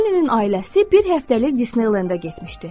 Kolinin ailəsi bir həftəlik Disneyland-ə getmişdi.